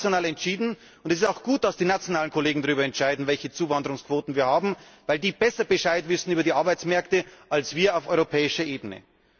Es wird aber national entschieden, und es ist auch gut, dass die nationalen Kollegen darüber entscheiden, welche Zuwanderungsquoten wir haben, weil die besser Bescheid wissen über die Arbeitsmärkte als wir auf europäischer Ebene.